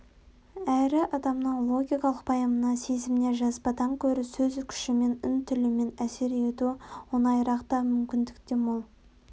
әрі адамның логикалық пайымына сезіміне жазбадан гөрі сөз күшімен үн тілімен әсер ету оңайырақ та мүмкіндік те мол